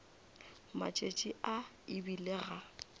matšatši a e bile ga